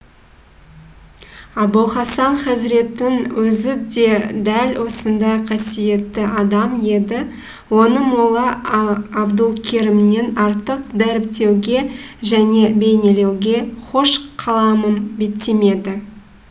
абулхасан хазреттің өзі де дәл осындай қасиетті адам еді оны молла абдулкерімнен артық дәріптеуге және бейнелеуге хош қаламым беттемеді